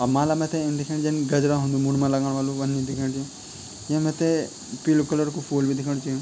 अ माला मैते इन दिखेंणी जन गजरा हुंदू मुंड मा लगाण वलु वन्नी दिखेंणि च या मैते पीलू कलर कु फूल बि दिखेंणु च।